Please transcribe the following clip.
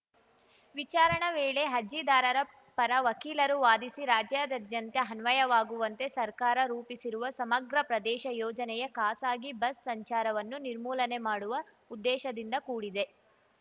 ವಿಚಾರಣೆ ವೇಳೆ ಅರ್ಜಿದಾರರ ಪರ ವಕೀಲರು ವಾದಿಸಿ ರಾಜ್ಯದಾದ್ಯಂತ ಅನ್ವಯವಾಗುವಂತೆ ಸರ್ಕಾರ ರೂಪಿಸಿರುವ ಸಮಗ್ರ ಪ್ರದೇಶ ಯೋಜನೆಯು ಖಾಸಗಿ ಬಸ್‌ ಸಂಚಾರವನ್ನು ನಿರ್ಮೂಲನೆ ಮಾಡುವ ಉದ್ದೇಶದಿಂದ ಕೂಡಿದೆ